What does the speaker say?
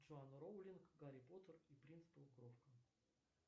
джоан роулинг гарри поттер и принц полукровка